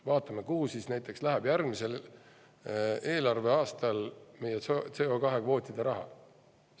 Vaatame, kuhu läheb järgmisel eelarveaastal näiteks meie CO2-kvootide raha.